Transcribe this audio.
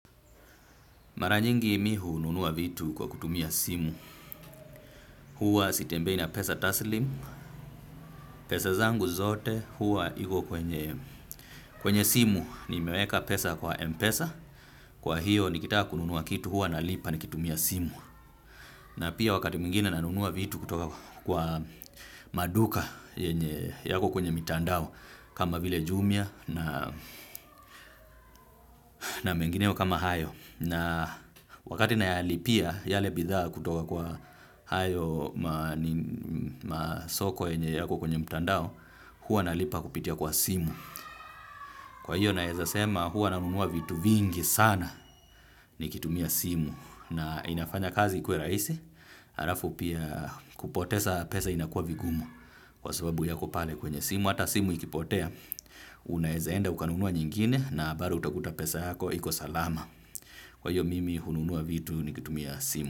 Mara nyingi mimi hununua vitu kwa kutumia simu. Huwa sitembei na pesa taslimu, pesa zangu zote huwa iko kwenye simu. Nimeweka pesa kwa Mpesa, kwa hiyo nikitaka kununua kitu huwa na lipa nikitumia simu. Na pia wakati mwingine nanunua vitu kutoka kwa maduka yenye yako kwenye mitandao. Kama vile jumia na mengineo kama hayo. Na wakati na yalipia yale bidhaa kutoka kwa hayo masoko yenye yako kwenye mtandao, huwa nalipa kupitia kwa simu. Kwa hiyo naweza sema huwa nanunua vitu vingi sana nikitumia simu. Na inafanya kazi ikuwe rahisi, halafu pia kupoteza pesa inakuwa vigumu kwa sababu yako pale kwenye simu. Hata simu ikipotea, unaweza enda ukanunua nyingine na bado utakuta pesa yako, iko salama. Kwa hiyo mimi hununua vitu nikitumia simu.